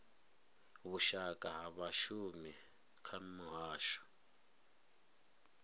vhushaka ha vhashumi kha muhasho